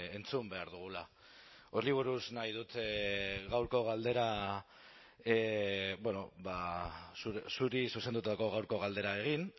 entzun behar dugula horri buruz nahi dut gaurko galdera zuri zuzendutako gaurko galdera egin